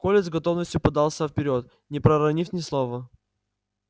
коля с готовностью подался вперёд не проронив ни слова